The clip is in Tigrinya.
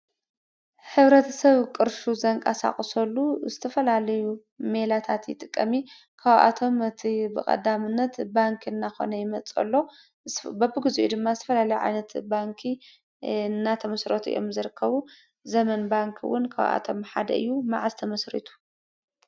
ሕብረተሰብ ቅርሹ ዘንቀሳቅሰሉ ዝተፈላለዩ ሜላታት ይጥቀም እዩ ። ካብኣቶም እቲ ብቀዳምነት ባንኪ እናኮነ ይመፅእ ኣሎ። በብግዚኡ ድማ ዝተፈላለዩ ዓይነት ባንኪ እናተመስረቱ እዮም ዝርከቡ። ዘመን ባንኪ እዉን ካብ ኣቶም ሓደ እዩ። መዓዝ ተመስሪቱ?